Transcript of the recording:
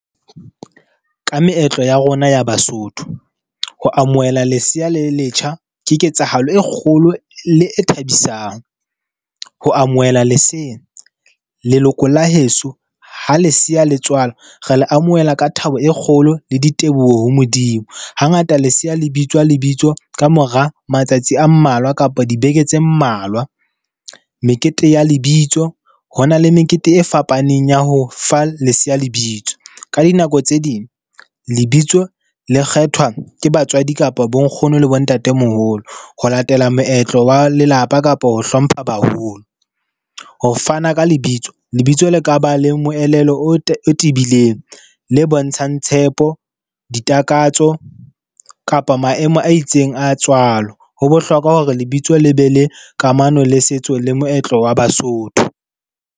Ka meetlo ya rona ya Basotho, ho amohela lesea le letjha, ke ketsahalo e kgolo le e thabisang. Ho amohela lesea, leloko la heso ha lesea letswalwa re le amohela ka thabo e kgolo le diteboho ho Modimo. Hangata lesea lebitswa lebitso ka mora matsatsi a mmalwa kapa dibeke tse mmalwa. Mekete ya lebitso, ho na le mekete e fapaneng ya ho fa leseya lebitso ka dinako tse ding, lebitso le kgethwa ke batswadi kapa bonkgono le bontatemoholo ho latela moetlo wa lelapa kapa ho hlompha baholo. Ho fana ka lebitso, lebitso la ka ba le moelelo o tibileng, le bontshang tshepo ditakatso kapa maemo a itseng a tswalo. Ho bohlokwa hore lebitso le be le kamano le setso le moetlo wa Basotho.